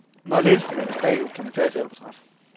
Når linsen vendes bagud, kan man tage et selvportræt.